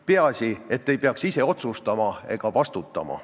Peaasi, et ei peaks ise otsustama ega vastutama.